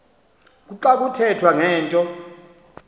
kuxa kuthethwa ngento